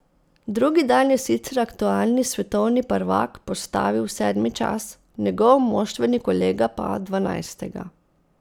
Drugi dan je sicer aktualni svetovni prvak postavil sedmi čas, njegov moštveni kolega pa dvanajstega.